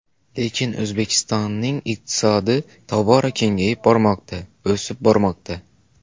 Lekin O‘zbekistonning iqtisodi tobora kengayib bormoqda, o‘sib bormoqda.